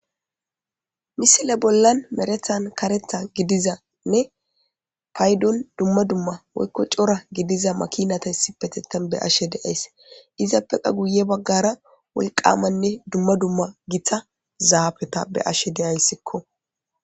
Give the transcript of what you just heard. Misile bollan merethan karetha gidizanne payddon dumma dumma woykko cora gidiza makinata issipetetan be'ashe deays izappeka guye baggara wolqamanne dumma dumma giththa zaafeta be'ashe de'yisikko.